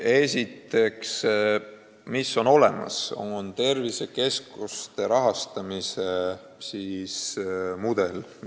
Esiteks, tõesti on olemas tervisekeskuste rahastamise mudel.